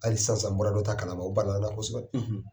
Hali sansan bɔra dɔ ta kalama o balala na kosɛbɛ